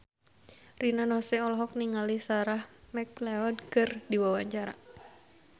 Rina Nose olohok ningali Sarah McLeod keur diwawancara